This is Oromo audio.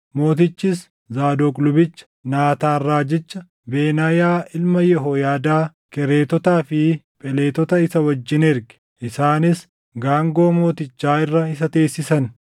Mootichis Zaadoq lubicha, Naataan raajicha, Benaayaa ilma Yehooyaadaa, Kereetotaa fi Pheletota isa wajjin erge; isaanis gaangoo mootichaa irra isa teessisan;